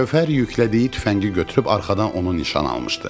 Gövhər yüklədiyi tüfəngi götürüb arxadan onu nişan almışdı.